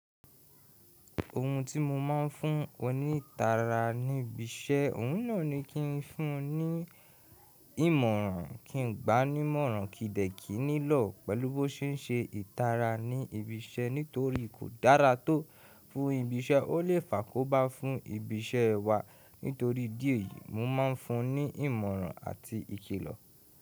Ohun tí mo máa ń fún onítara ní ibi iṣẹ́, òun náà ni kí n fún un ní ìmọ̀ràn, kí n gbáa n'ímọ̀ràn, kíì dẹ̀ kí i nílọ̀ pẹ̀lú bó ṣe ń ṣe ìtara ní ibi iṣẹ́. Nítorí kò dára tó fún ibi iṣẹ́, ó lè fàkó bá fún ibi iṣẹ́ wa. Nítorí díẹ̀ yìí, mo máa ń fún un ní ìmọ̀ràn àti ìkìlọ̀.